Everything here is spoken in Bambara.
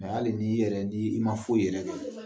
hali n'i yɛrɛ ni i ma foyi kɛ